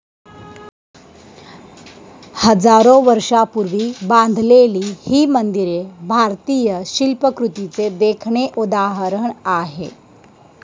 हजारो वर्षापूर्वी बांधलेली ही मंदिरे भारतीय शिल्पकृतीचे देखणे उदाहरण आहे.